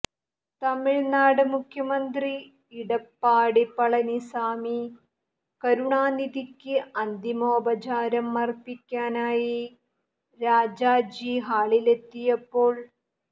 തമിഴ്നാട് മുഖ്യമന്ത്രി ഇടപ്പാടി പളനിസാമി കരുണാനിധിക്ക് അന്തിമോപചാരം അർപ്പിക്കാനായി രാജാജി ഹാളിലെത്തിയപ്പോൾ